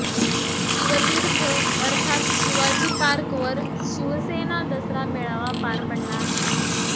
शिवतीर्थ अर्थात शिवाजी पार्कवर शिवसेना दसरा मेळावा पार पडला आहे